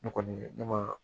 Ne kɔni ne ma